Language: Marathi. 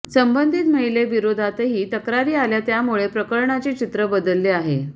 संबंधित महिलेविरोधातही तक्रारी आल्या त्यामुळे प्रकरणाचे चित्र बदलले आहे